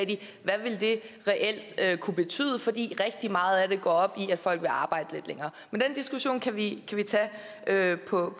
de hvad det reelt ville kunne betyde fordi rigtig meget af det går op i at folk vil arbejde lidt længere men den diskussion kan vi tage på